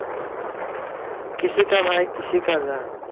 kisi ka bhai kisi ki jaan